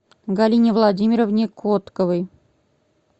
галине владимировне котковой